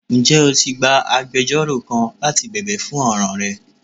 Njẹ o ti gbà àgbẹjọró kán láti bẹbẹ fún ọran rẹ?